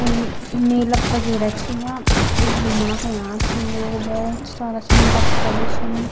क्वि मेला पगेरह छिया घूमणा क अयाँ छिन लोग भौत सारा बच्चा बि छिन।